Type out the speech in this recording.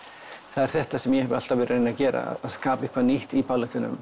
það er þetta sem ég hef alltaf verið að reyna að gera að skapa eitthvað nýtt í